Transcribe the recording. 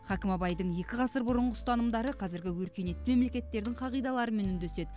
хакім абайдың екі ғасыр бұрынғы ұстанымдары қазіргі өркениетті мемлекеттердің қағидаларымен үндеседі